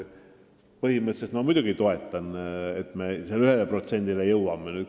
Põhimõtteliselt ma muidugi toetan, et me selle 1%-ni jõuame.